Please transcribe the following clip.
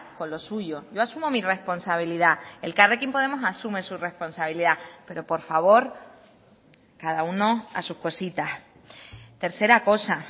con lo suyo yo asumo mi responsabilidad elkarrekin podemos asume su responsabilidad pero por favor cada uno a sus cositas tercera cosa